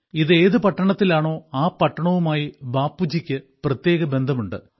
ഇത് ഏതു പട്ടണത്തിലാണോ ആ പട്ടണവുമായി ബാപ്പുജിക്ക് പ്രത്യേക ബന്ധമുണ്ട്